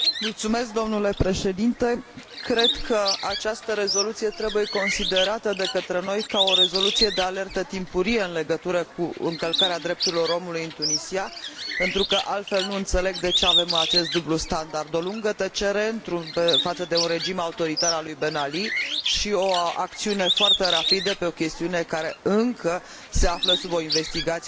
Cred că această rezoluție trebuie considerată de către noi ca o rezoluție de alertă timpurie în legătură cu încălcarea drepturilor omului în Tunisia, pentru că altfel nu înțeleg de ce avem acest dublu standard o lungă tăcere față de un regim autoritar al lui Ben Ali și o acțiune foarte rapidă pe o chestiune care încă se află sub o investigație judiciară.